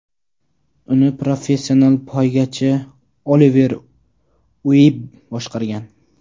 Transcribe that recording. Uni professional poygachi Oliver Uebb boshqargan.